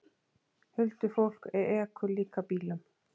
Huldufólk ekur líka bílum